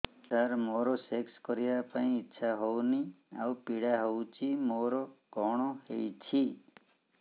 ସାର ମୋର ସେକ୍ସ କରିବା ପାଇଁ ଇଚ୍ଛା ହଉନି ଆଉ ପୀଡା ହଉଚି ମୋର କଣ ହେଇଛି